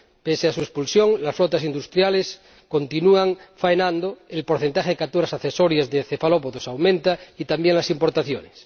Pese a su expulsión, las flotas industriales continúan faenando, el porcentaje de capturas accesorias de cefalópodos aumenta, y también las importaciones.